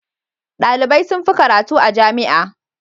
Dalibai sun fi karatu a jami'a.